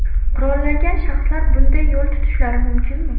Qurollangan shaxslar bunday yo‘l tutishlari mumkinmi?